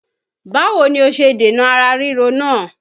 Báwo ni o ṣe dènà ara ríro náà?